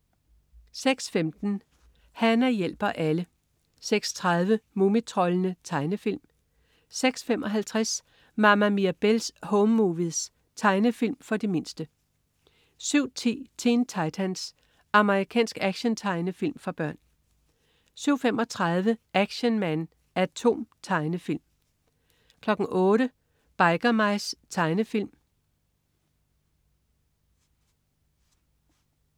06.15 Hana hjælper alle 06.30 Mumitroldene. Tegnefilm 06.55 Mama Mirabelle's Home Movies. Tegnefilm for de mindste 07.10 Teen Titans. Amerikansk actiontegnefilm for børn 07.35 Action Man A.T.O.M. Tegnefilm 08.00 Biker Mice. Tegnefilm